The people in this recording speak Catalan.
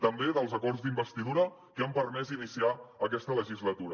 també dels acords d’investidura que han permès iniciar aquesta legislatura